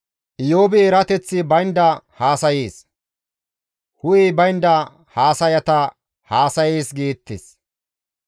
‹Iyoobi erateththi baynda haasayees; hu7ey baynda haasayata haasayees› geettes.